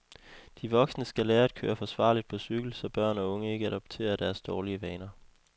De voksne skal lære at køre forsvarligt på cykel, så børn og unge ikke adopterer deres dårlige vaner.